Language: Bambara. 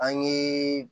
An ye